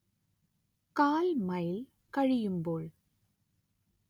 കാൽ മൈൽ കഴിയുമ്പോൾ